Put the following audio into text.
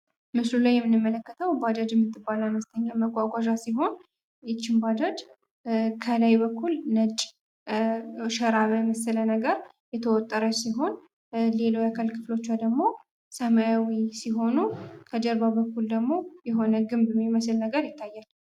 ምስሉ ላይ የምንመለከተው ባጃጅ የምትባል አነስተኛ መጓጓዣ ሲሆን ይች ባጃጅ ከላይ በኩል ነጭ ሸራ በመሰለ ነገር የተወጠረ ሲሆን ሌላው የአካል ክፍሎቿ ደግሞ ሰማያዊ ሲሆኑ ከጀርባ በኩል ደግሞ የሆነ ግንብ የሚመስል ነገር ይታያል።